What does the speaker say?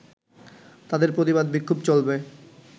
তাদের প্রতিবাদ-বিক্ষোভ চলবে